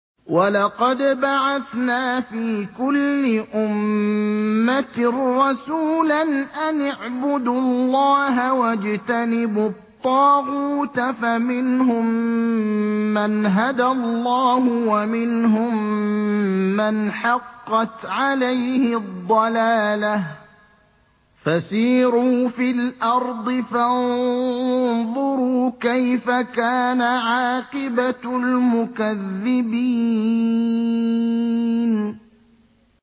وَلَقَدْ بَعَثْنَا فِي كُلِّ أُمَّةٍ رَّسُولًا أَنِ اعْبُدُوا اللَّهَ وَاجْتَنِبُوا الطَّاغُوتَ ۖ فَمِنْهُم مَّنْ هَدَى اللَّهُ وَمِنْهُم مَّنْ حَقَّتْ عَلَيْهِ الضَّلَالَةُ ۚ فَسِيرُوا فِي الْأَرْضِ فَانظُرُوا كَيْفَ كَانَ عَاقِبَةُ الْمُكَذِّبِينَ